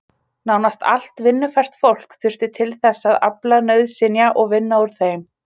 Nánast allt vinnufært fólk þurfti til þess að afla nauðsynja og vinna úr þeim.